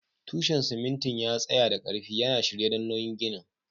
Tushen simintin ya tsaya da ƙarfi, yana shirye don nauyin ginin.